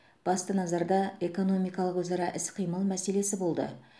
басты назарда экономикалық өзара іс қимыл мәселесі болды